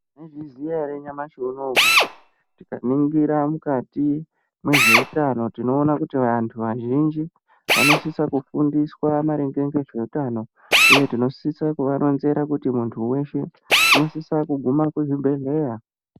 Tinozviziya ere nyamashi unowu kuti tikaningira mukati mwezveutano tinoona kuti vantu vazhinji vanosisa kufundiswa maringe ngezveutano uye tinosisa kuvaronzera kuti muntu weshe unosisa kugume kuzvibhedhleya.